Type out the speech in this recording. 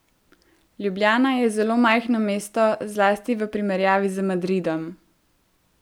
Ljubljana je zelo majhno mesto, zlasti v primerjavi z Madridom.